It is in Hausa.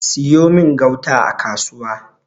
siyo min gauta a kasuwa!